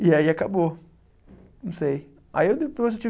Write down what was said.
E aí acabou, não sei. Aí eu depois tive